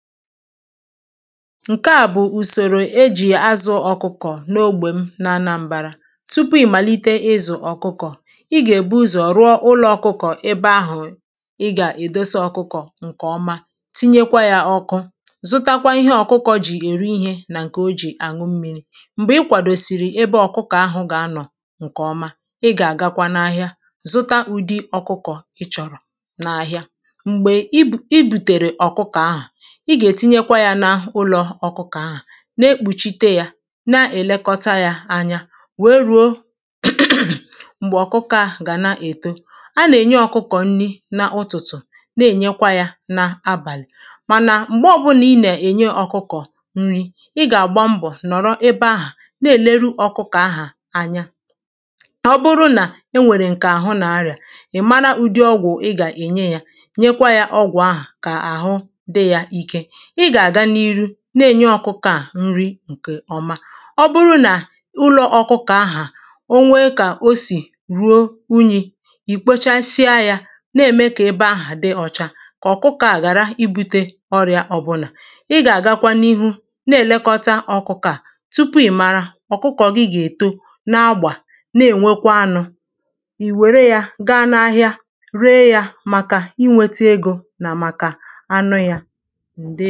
Ǹkeà bụ̀ ùsor̀ò ejì azụ̀ ọkụkọ̀ n’ogbè m na anambārā Tupu ị màlite izụ̀ ọ̀kụkọ̀, ị gà-èbu ụzọ̀ rụọ ụlọ̄ ọkụkọ̀ ebe ahụ̀ ị gà-èdosa ọkụkọ̀ ǹkèọma tinyekwa yā ọ̄kụ̄ zụtakwa ihe ọkụkọ̄ jì èri ihē nà ǹkè o jì àṅụ mmīrī m̀gbè ɪ́ kʷàdòsìrì ébé ɔ̀kʊ́kɔ̀ áɦʊ̀ gà-ánɔ̀ ŋ̀kèɔ́má, ɪ́ gà-àgákʷá n’áɦíá zʊ́tá ʊ̄dɪ̄ ɔ̀kʊ́kɔ̀ ɪ́ tʃɔ̀rɔ̀ n’áɦɪ́á M̀gbè i bùtèrè ọ̀kụkọ̀ ahà, i gà-ètinye yā na ụlọ̄ ọkụkọ̀, na-ekpùchite yā na-ẹ̀lẹkọta yā anya, wère ruo m̀gbè ọ̀kụkọ̀ ahà gà na-èto A nà-ènye ọkụkọ̀ nni nà ụ̀tụtụ̀ na-ènyekwa yā na abàlị̀ Mànà m̀gbe ọbụlà ị na-ènye ọkụkọ̀ nni, ị gà-àgba mbọ̀ nọ̀rọ ebe ahà, na-èneru ọ̀kụkọ̀ ahà anya Ọ bụrụ nà e nwèrè ǹkè àhụ nà-arịà, ị̀ mara ụdị ọgwụ̀ ị gà-ènye yā, nyekwa yā ọgwụ̀ ahà kà àhụ dị yā ike Ị gà-àga n’iru na-ènye ọkụkọ̀ à nri ǹkèọma Ọ bụrụ nà ụlọ̄ ọkụkọ̀ ahà, o nwee kà o sì ruo unyī, ì kpochsịa yā na-kà ebe aha dị ọcha, kà ọ̀kụkọ̄ à ghàra ibūtē ọrịà ọbụlà Ị gà-àgakwa n’ihu na-èlekọta ụmụ̄ ọkụkọ̄ à anya, tupu ị̀ mara ɔ̀kʊkɔ̀ gị ga-èto na-agbà, na-ènwekwa anụ̄ I wère yā gaa n’ahịa, ree yā màkà inwētē egō nà màkà anụ yā